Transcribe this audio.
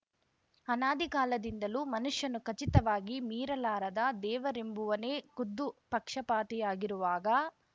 ಅನಾದಿಕಾಲದಿಂದಲೂ ಮನುಷ್ಯನು ಖಚಿತವಾಗಿ ಮೀರಲಾರದ ದೇವರೆಂಬುವನೇ ಖುದ್ದು ಪಕ್ಷಪಾತಿಯಾಗಿರುವಾಗ